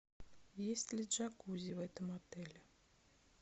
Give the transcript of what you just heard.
есть ли джакузи в этом отеле